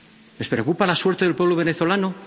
¿Les preocupa la suerte del pueblo venezolano?